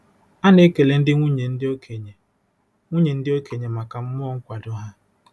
A na-ekele ndị nwunye ndị okenye nwunye ndị okenye maka mmụọ nkwado ha.